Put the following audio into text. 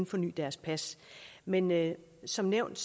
forny deres pas men men som nævnt